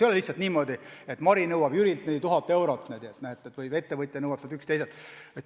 Ei ole lihtsalt niimoodi, et Mari nõuab Jürilt või üks ettevõtja nõuab teiselt 1000 eurot.